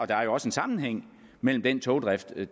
der er jo også en sammenhæng mellem den togdrift